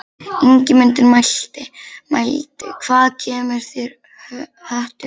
Ingimundur mælti: Hvaðan kemur þér höttur þessi?